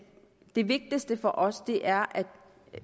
det vigtigste for os er at